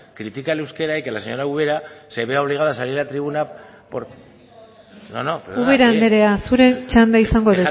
critique al euskera y que la señora ubera se vea obligada a salir a tribuna ubera andrea zure txanda izango